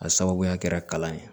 A sababuya kɛra kalan ye